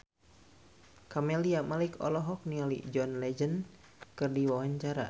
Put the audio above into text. Camelia Malik olohok ningali John Legend keur diwawancara